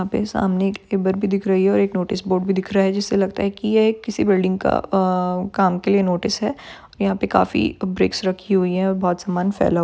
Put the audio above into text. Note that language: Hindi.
यहाँ पे सामने एक नोटिस बोर्ड भी दिख रहा है जिससे लगता है की ये किसी बिल्डिंग के काम के लिए नोटिस है यहाँ पे काफी ब्रिक्स रखी हुई है और बहुत सामान फै--